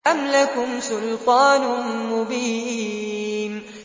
أَمْ لَكُمْ سُلْطَانٌ مُّبِينٌ